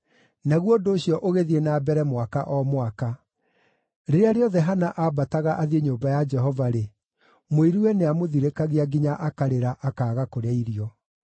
Naguo ũndũ ũcio ũgĩthiĩ na mbere mwaka o mwaka. Rĩrĩa rĩothe Hana aambataga athiĩ nyũmba ya Jehova-rĩ, mũiruwe nĩamũthirĩkagia nginya akarĩra, akaaga kũrĩa irio.